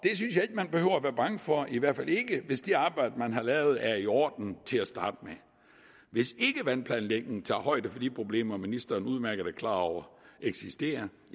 man behøver være bange for i hvert fald ikke hvis det arbejde man har lavet er i orden til at starte med hvis ikke vandplanlægningen tager højde for de problemer ministeren udmærket er klar over eksisterer